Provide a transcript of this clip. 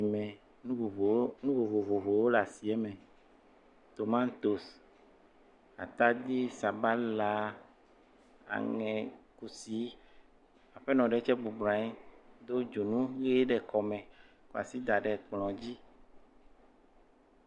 Le asime. Nu vovowo, nu vovovowo le asiɛmɛ. Tomatosi, atadzi, sabala aŋɛ, kusi. Aƒenɔ ɖe tsɛ bɔblɔ nyi do dzonu ʋee ɖe kɔme kɔ asi da ɖe kplɔ̃ dzi.